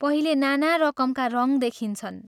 पहिले नाना रकमका रङ्ग देखिन्छन्।